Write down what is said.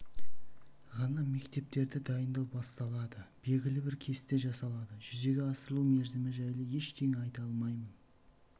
ғана мектептерді дайындау басталады белгілі бір кесте жасалады жүзеге асырылу мерзімі жайлы ештеңе айта алмаймын